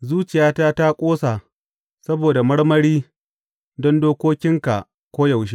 Zuciyata ta ƙosa saboda marmari don dokokinka koyaushe.